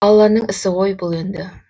алланың ісі ғой бұл енді